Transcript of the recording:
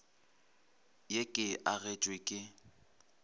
ye ke e agetšwe ke